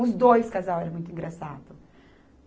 Os dois casais eram muito engraçados.